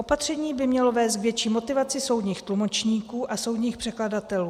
Opatření by mělo vést k větší motivaci soudních tlumočníků a soudních překladatelů.